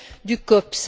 du COPS.